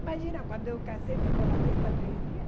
Imagina, quando eu casei, ficou a festa três dias.